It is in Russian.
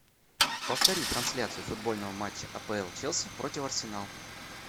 повтори трансляцию футбольного матча апл челси против арсенал